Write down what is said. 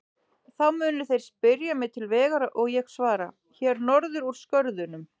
Þá munu þeir spyrja mig til vegar og ég svara: Hér norður úr skörðunum.